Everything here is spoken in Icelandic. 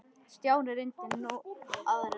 Stjáni reyndi nú aðra leið.